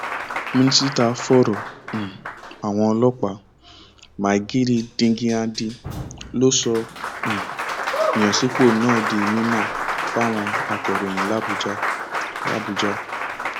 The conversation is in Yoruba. mínísítà fọrọ um àwọn ọlọpàá maigari díngyadi ló sọ um ìyànsípò náà di mímọ fáwọn akòròyìn làbújá làbújá